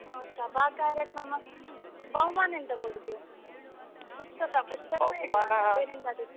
ಆ ಸಭಾ ಕಾರ್ಯಕ್ರಮ, ಬಹುಮಾನ ಎಂತ ಕೊಡುದು? ಪುಸ್ತಕ ಪುಸ್ತಕ .